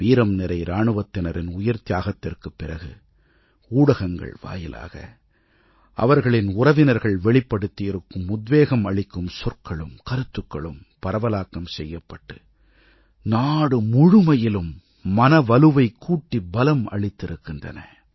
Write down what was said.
வீரம்நிறை இராணுவத்தினரின் உயிர்த்தியாகத்திற்குப் பிறகு ஊடகங்கள் வாயிலாக அவர்களின் உறவினர்கள் வெளிப்படுத்தியிருக்கும் உத்வேகம் அளிக்கும் சொற்களும் கருத்துக்களும் பரவலாக்கம் செய்யப்பட்டு நாடு முழுமையிலும் மன வலுவைக் கூட்டி பலம் அளித்திருக்கின்றன